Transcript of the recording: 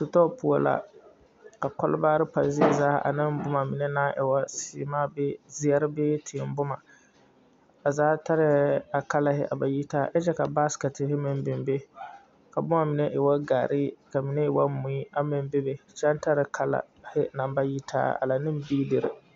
Sitɔɔ poɔ la ka kɔlbaarre pa zie zaa aneŋ boma mine naŋ e woo sèèmaa bee zeɛre bee tiiboma a zaa tarɛɛ a kalahi a ba yitaa kyɛ kyɛre ka baasikɛtere meŋ biŋ be ka boma e woo gaaree ka mine e woo mui aŋ meŋ bebe kyɛ aŋ tare kala kalahi naŋ ba yitaa ala neŋ beedire.